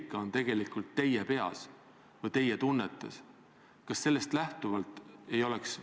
Mina ei ole nimetanud neid inimesi 300 000 parasiteerivaks tiblaks.